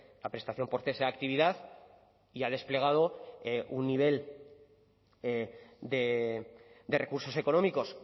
la prestación por cese de actividad y ha desplegado un nivel de recursos económicos